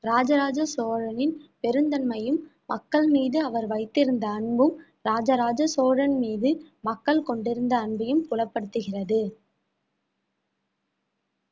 இராஜராஜ சோழனின் பெருந்தன்மையும் மக்கள் மீது அவர் வைத்திருந்த அன்பும் இராஜராஜ சோழன் மீது மக்கள் கொண்டிருந்த அன்பையும் புலப்படுத்துகிறது